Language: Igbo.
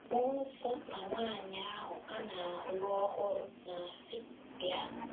“ Mmụọ nsọ na nwaanyị ahụ a na - alụ ọhụrụ na - asị: ‘ Bịa! ’...